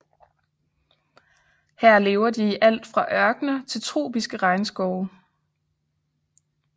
Her lever de i alt fra ørkener til tropiske regnskove